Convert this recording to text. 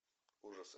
ужасы